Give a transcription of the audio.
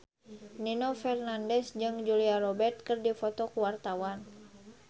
Nino Fernandez jeung Julia Robert keur dipoto ku wartawan